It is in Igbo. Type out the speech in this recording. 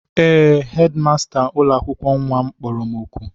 Ee, hedịmasta ụlọakwụkwọ nnwa m kpọrọ m oku